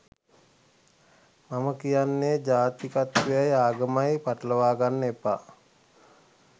මම කියන්නේ ජාතිකත්වයයි ආගමයි පටලවාගන්න එපා